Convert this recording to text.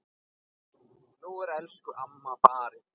Nú er elsku amma farin.